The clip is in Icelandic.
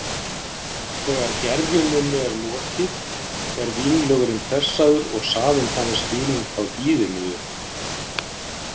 Þegar gerjuninni er lokið er vínlögurinn pressaður og safinn þannig skilinn frá hýðinu.